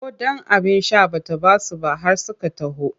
Ko ɗan abin sha ba ta ba su ba har suka taho.